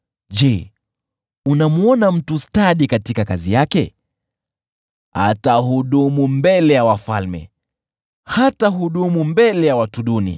Je, unamwona mtu stadi katika kazi yake? Atahudumu mbele ya wafalme; hatahudumu mbele ya watu duni.